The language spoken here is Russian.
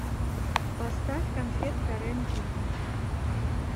поставь конфетка рем дигги